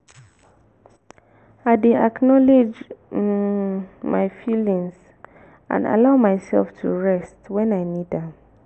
i dey acknowledge um my feelings and allow myself to rest when i need am.